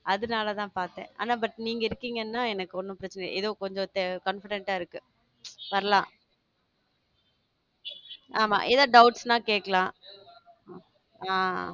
அதனால தான் பார்த்தேன் ஆனா but நீங்க இருக்கீங்கன்னா எனக்கு ஒண்ணும் பிரச்சனை ஏதோ கொஞ்சம் confident ஆ இருக்கு வரலாம் ஆமா என்ன doubts ன்னா கேட்கலாம் ஆஹ்